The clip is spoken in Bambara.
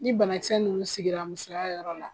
Ni banakisɛ ninnu sigila musoya yɔrɔ la